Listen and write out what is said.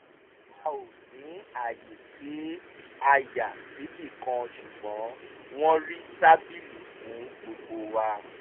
a ò ní àyè tí a yà síbì kan ṣùgbọ́n wọ́n rí tábìlì fún gbogbo wa